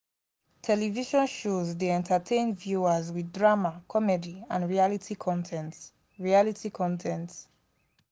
television shows dey entertain viewers with drama comedy and reality con ten t. reality con ten t.